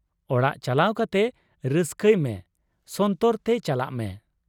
ᱚᱲᱟᱜ ᱪᱟᱠᱟᱣ ᱠᱟᱛᱮ ᱨᱟᱹᱥᱠᱟᱹᱭ ᱢᱮ, ᱥᱚᱱᱛᱚᱨ ᱛᱮ ᱪᱟᱞᱟᱜ ᱢᱮ ᱾